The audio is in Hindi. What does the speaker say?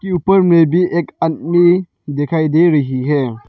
के ऊपर में भी एक आदमी दिखाई दे रही है।